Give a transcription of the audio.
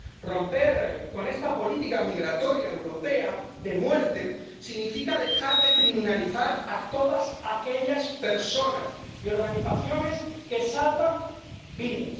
Romper con esta política migratoria europea de muerte significa dejar de criminalizar a todas aquellas personas y organizaciones que salvan vidas.